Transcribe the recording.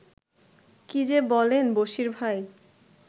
কী যে বলেন, বশীর ভাই